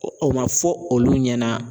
O o man fɔ olu ɲɛna.